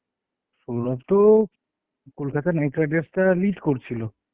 সৌরভ তো Kolkata knight riders টা lead করছিল.